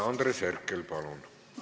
Andres Herkel, palun!